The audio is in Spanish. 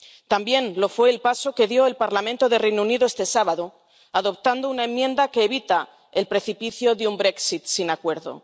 También lo fue el paso que dio el Parlamento del Reino Unido este sábado, adoptando una enmienda que evita el precipicio de un Brexit sin acuerdo.